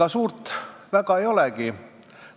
Ega suurt väga ei olegi.